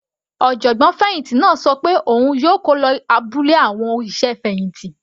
Ọ̀jọ̀gbọ́n fẹ̀hìntì náà ṣọ pé òun yóò kó lọ abúlé àwọn òṣìṣẹ́ fẹ̀hìntì.